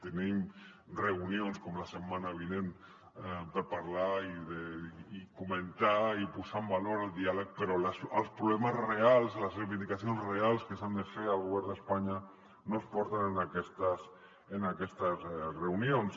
tenim reunions com la setmana vinent per parlar i comentar i posar en valor el diàleg però els problemes reals les reivindicacions reals que s’han de fer al govern d’espanya no es porten en aquestes reunions